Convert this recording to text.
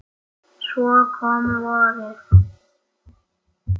Svo kom vorið.